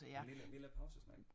En lille lille pausesnack